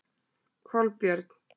Kolbjörn